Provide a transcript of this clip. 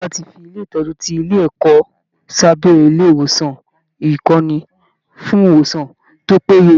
Ìjọba ti fi ilé ìtọ́jú ti ilé ẹ̀kọ́ sábẹ́ ilé ìwòsàn ìkọ́ni fún ìwòsàn tó péye